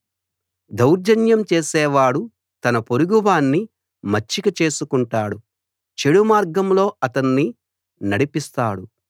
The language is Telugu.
దౌర్జన్యం చేసేవాడు తన పొరుగువాణ్ణి మచ్చిక చేసుకుంటాడు చెడు మార్గంలో అతణ్ణి నడిపిస్తాడు